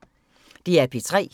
DR P3